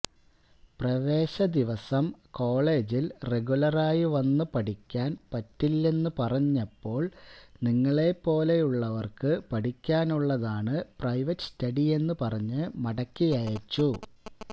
പ്രവേശ ദിവസം കോളജില് റഗുലറായി വന്ന് പഠിക്കാന് പറ്റില്ളെന്നു പറഞ്ഞപ്പോള് നിങ്ങളെപ്പോലുള്ളവര്ക്ക് പഠിക്കാനുള്ളതാണ് പ്രൈവറ്റ് സ്റ്റഡിയെന്ന് പറഞ്ഞ് മടക്കിയയച്ചു